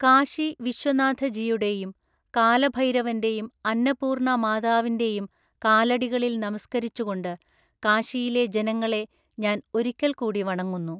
കാശി വിശ്വനാഥജിയുടെയും, കാലഭൈരവന്റെയും അന്നപൂര്ണ്ണ മാതാവിന്റെയും കാലടികളില്‍ നമസ്ക്കരിച്ചുകൊണ്ട് കാശിയിലെ ജനങ്ങളെ ഞാന്‍ ഒരിക്കല് കൂടി വണങ്ങുന്നു.